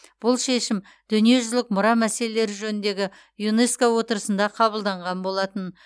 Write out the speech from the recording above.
бұл шешім дүниежүзілік мұра мәселелері жөніндегі юнеско отырысында қабылданған болатын